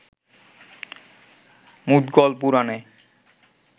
মুদগল পুরাণে